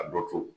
A dɔ to